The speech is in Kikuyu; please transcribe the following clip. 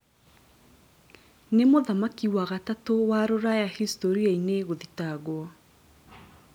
Nĩ mũthamaki wa gatatu wa Rũraya historia-ini gũthitangwo